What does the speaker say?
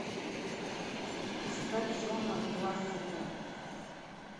искать джона лассетера